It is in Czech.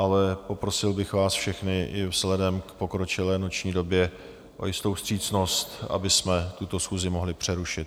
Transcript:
Ale poprosil bych vás všechny i vzhledem k pokročilé noční době o jistou vstřícnost, abychom tuto schůzi mohli přerušit.